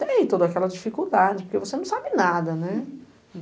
Tem toda aquela dificuldade, porque você não sabe nada, né?